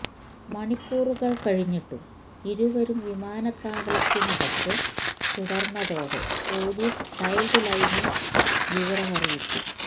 മണിക്കൂറുകൾ കഴിഞ്ഞിട്ടും ഇരുവരും വിമാനത്താവളത്തിനകത്ത് തുടർന്നതോടെ പോലീസ് ചൈൽഡ് ലൈനിൽ വിവരമറിയിച്ചു